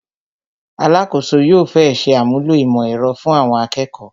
Alakoso yóò fẹ́ ṣe àmúlò ìmọ̀ ẹ̀rọ fun Awon akeko